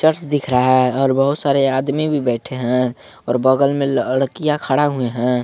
Church दिख रहा है और बहौत सारे आदमी भी बैठे है और बगल में लड़कियां खड़ा हुए है।